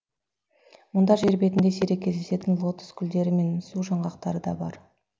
мұнда жер бетінде сирек кездесетін лотос гулдері мен су жаңғақтары да бар